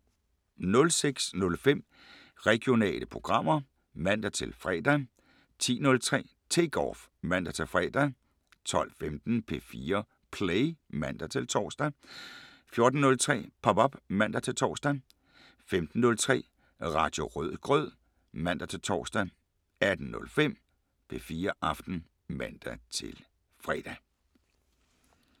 06:05: Regionale programmer (man-fre) 10:03: Take Off (man-fre) 12:15: P4 Play (man-tor) 14:03: Pop op (man-tor) 15:03: Radio Rødgrød (man-tor) 18:05: P4 Aften (man-fre)